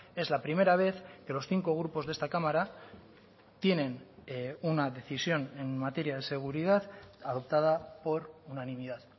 es la primera vez que los cinco grupos de esta cámara tienen una decisión en materia de seguridad adoptada por unanimidad